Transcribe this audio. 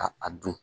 Ka a dun